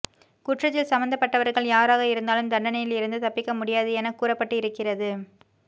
குற்றத்தில் சம்பந்தப்பட்டவர்கள் யாராக இருந்தாலும் தண்டனையில் இருந்து தப்பிக்க முடியாது என கூறப்பட்டு இருக்கிறது